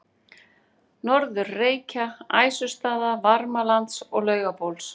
Norður-Reykja, Æsustaða, Varmalands og Laugabóls.